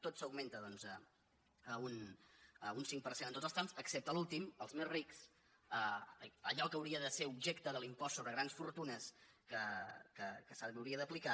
tot s’augmenta un cinc per cent en tots els trams excepte l’últim els més rics allò que hauria de ser objecte de l’impost sobre grans fortunes que se li hauria d’aplicar